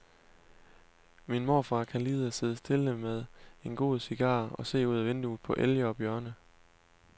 Min morfar kan lide at sidde stille med en god cigar og se ud af vinduet på elge og bjørne.